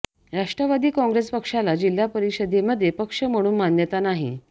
राष्ट्रवादी काँग्रेस पक्षाला जिल्हा परिषदेमध्ये पक्ष म्हणून मान्यता नाही